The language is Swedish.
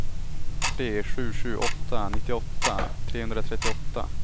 tre sju sju åtta nittioåtta trehundratrettioåtta